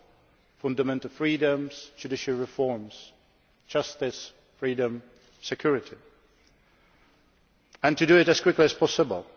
on fundamental freedoms and judicial reforms, justice, freedom, security and to do it as quickly as possible.